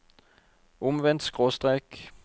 omvendt skråstrek